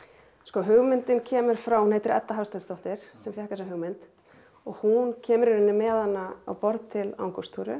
hugmyndin kemur frá hún heitir Edda Hafsteinsdóttir sem fékk þessa hugmynd og hún kemur í rauninni með hana á borð til